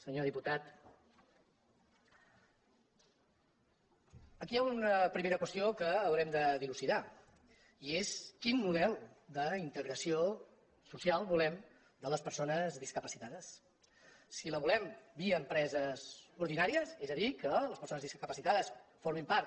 senyor diputat aquí hi ha una primera qües·tió que haurem de dilucidar i és quin model d’integra·ció social volem de les persones discapacitades si la volem via empreses ordinàries és a dir que les perso·nes discapacitades formin part